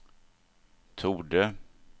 torde